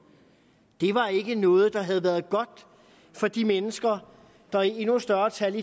det var ikke noget der havde været godt for de mennesker der i endnu større tal